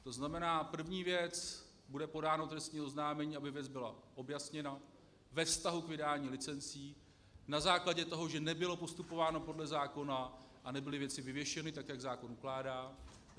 To znamená, první věc - bude podáno trestní oznámení, aby věc byla objasněna ve vztahu k vydání licencí na základě toho, že nebylo postupováno podle zákona a nebyly věci vyvěšeny tak, jak zákon ukládá.